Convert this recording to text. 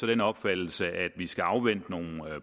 den opfattelse at vi skal afvente nogle